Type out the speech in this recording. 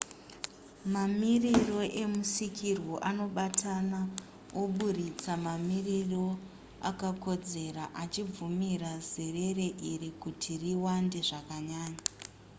mamiriro emusikirwo anobatana oburitsa mamiriro akakodzera achibvumira zerere iri kuti riwande zvakanyanya